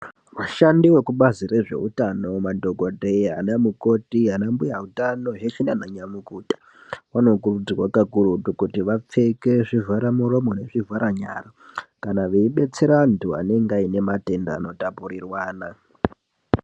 Vashandi vekubazi rezveutano madhokodheya, anamukoti, anambuya utano, zveshe naananyamukuta, vanokurudzirwa kakurutu kuti vapfeke zvivharamuromo nezvivharanyara, kana veidetserwa antu anenge aine matenda anotapurirwana.